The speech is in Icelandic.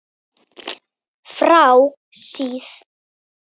Frá síð